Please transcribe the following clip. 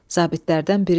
Zabitlərdən biri dedi: